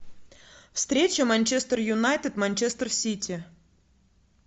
встреча манчестер юнайтед манчестер сити